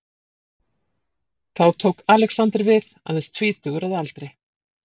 Þá tók Alexander við, aðeins tvítugur að aldri.